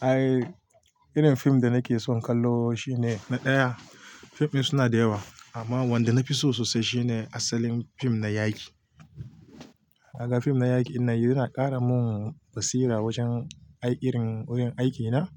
Ai, irin fim da nake son kallo shine na ɗaya. Fim ɗin suna da yawa amma wanda na fi so sosai shine asalin fim na yaki. Kaga fim na yaƙi ɗinnan yana ƙara mun basira wajen ai irin wurin aikina.